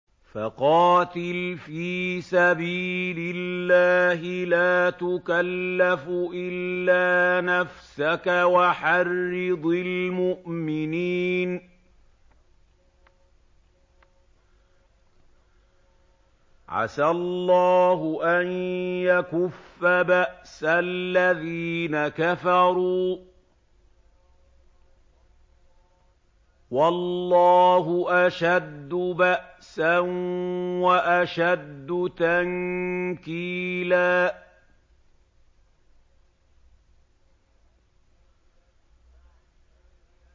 فَقَاتِلْ فِي سَبِيلِ اللَّهِ لَا تُكَلَّفُ إِلَّا نَفْسَكَ ۚ وَحَرِّضِ الْمُؤْمِنِينَ ۖ عَسَى اللَّهُ أَن يَكُفَّ بَأْسَ الَّذِينَ كَفَرُوا ۚ وَاللَّهُ أَشَدُّ بَأْسًا وَأَشَدُّ تَنكِيلًا